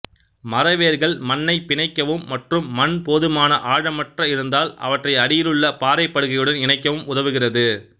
மர வேர்கள் மண்ணை பிணைக்கவும் மற்றும் மண் போதுமான ஆழமற்ற இருந்தால் அவற்றை அடியிலுள்ள பாறைப்படுகையுடன் இணைக்கவும் உதவுகிறது